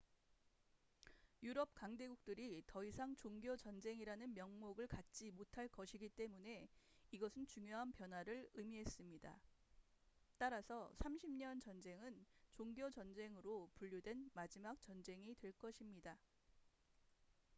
유럽 강대국들이 더 이상 종교 전쟁이라는 명목을 갖지 못할 것이기 때문에 이것은 중요한 변화를 의미했습니다 따라서 30년 전쟁은 종교 전쟁으로 분류된 마지막 전쟁이 될 것입니다